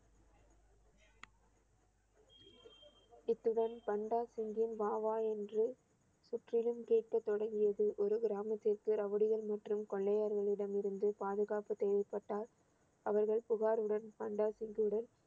இத்துடன் பண்டா சிங்கின் வா வா என்று சுற்றிலும் கேட்க தொடங்கியது ஒரு கிராமத்திற்கு ரவுடிகள் மற்றும் கொள்ளையர்களிடம் இருந்து பாதுகாப்பு தேவைப்பட்டால் அவர்கள் புகாருடன் பண்டா சிங்யிடம்